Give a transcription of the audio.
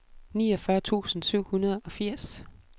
niogfyrre tusind syv hundrede og firs